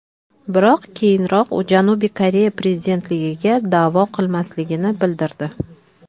Biroq keyinroq u Janubiy Koreya prezidentligiga da’vo qilmasligini bildirdi .